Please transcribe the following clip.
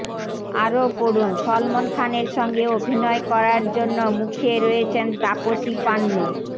আরও পড়ুন সলমন খানের সঙ্গে অভিনয় করার জন্য মুখিয়ে রয়েছেন তাপসী পান্নু